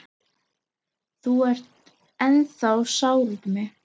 Þú ert ennþá sár út í mig.